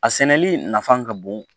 A sɛnɛli nafa ka bon